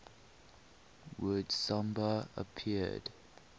word samba appeared